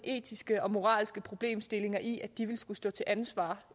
etiske og moralske problemstillinger i at de vil skulle stå til ansvar